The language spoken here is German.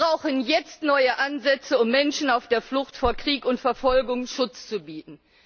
Wir brauchen jetzt neue Ansätze, um Menschen auf der Flucht vor Krieg und Verfolgung Schutz zu bieten.